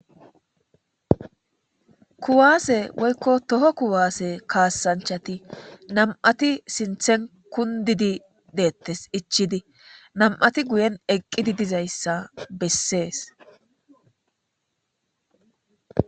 Kuwase woyikko Toho kuwasse kasanchati nam't sinththen kundidi detes ichidi qase nam"at eqidi dizayissa besses